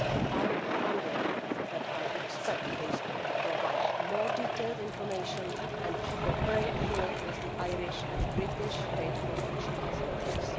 I underlined that I expect Facebook to provide more detailed information and to cooperate fully with the Irish and British data protection authorities.